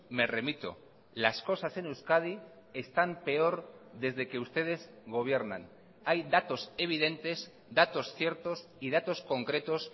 me remito las cosas en euskadi están peor desde que ustedes gobiernan hay datos evidentes datos ciertos y datos concretos